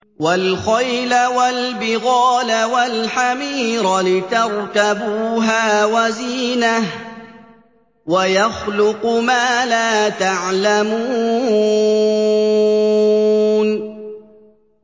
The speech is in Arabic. وَالْخَيْلَ وَالْبِغَالَ وَالْحَمِيرَ لِتَرْكَبُوهَا وَزِينَةً ۚ وَيَخْلُقُ مَا لَا تَعْلَمُونَ